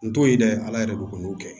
N t'o ye dɛ ala yɛrɛ ko k'u n'u kɛ